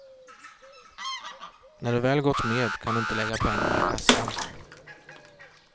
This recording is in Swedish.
När du väl gått med kan du inte lägga pengarna i kassan.